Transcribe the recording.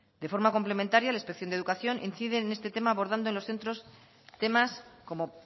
de forma complementaria la inspección de educación incide en este tema abordando en los centros temas como